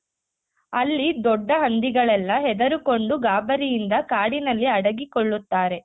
ಅಲ್ಲಿ ದೊಡ್ಡ ಹಂದಿಗಳೆಲ್ಲ ಹೆದರಿಕೊಂಡು ಗಾಬರಿಯಿಂದ ಕಾಡಿನಲ್ಲಿ ಅಡಗಿ ಕೊಳ್ಳುತ್ತಾರೆ.